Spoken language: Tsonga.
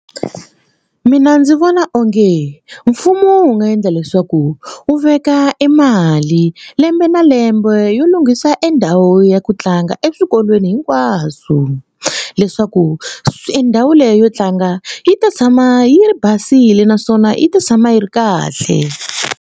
Mina ndzi vona onge mfumo wu nga endla leswaku wu veka e mali lembe na lembe yo lunghisa endhawu ya ku tlanga eswikolweni hinkwaswo leswaku swi e ndhawu leyi yo tlanga yi ta tshama yi basile naswona yi ta tshama yi ri kahle.